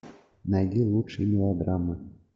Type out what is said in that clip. найди лучшие мелодрамы